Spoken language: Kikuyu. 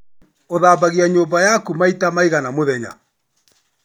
Ũthambagia nyumba yaku maita maigana mũthenya?